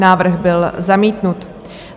Návrh byl zamítnut.